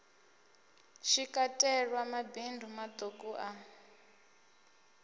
shi katelwa mabindu maṱuku a